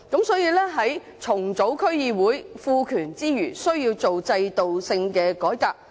所以，在重組區議會，賦權之餘，需要做制度性的改革。